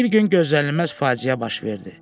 Bir gün gözlənilməz faciə baş verdi.